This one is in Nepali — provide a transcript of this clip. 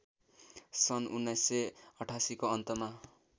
सन् १९८८ को अन्तमा